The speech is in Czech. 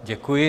Děkuji.